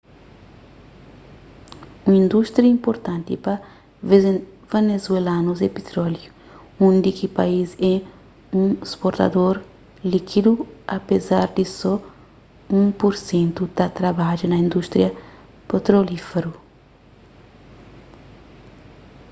un indústria inpurtanti pa venezuelanus é pitróliu undi ki país é un sportador líkidu apezar di so un pur sentu ta trabadja na indústria petrolíferu